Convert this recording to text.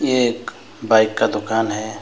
ये एक बाइक का दुकान है।